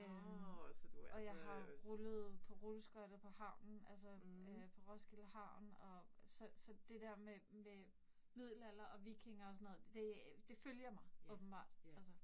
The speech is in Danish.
Øh og jeg har rullet på rulleskøjter på havnen altså øh, på Roskilde havn og så så det der med med Middelalder og vikinger og sådan noget det det følger mig åbenbart altså